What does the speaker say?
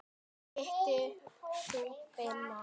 Hittir þú Beint í mark?